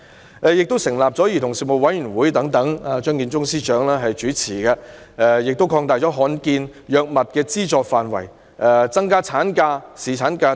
此外，她成立了由張建宗司長主持的兒童事務委員會、擴大罕見藥物的資助範圍、增加產假和侍產假等。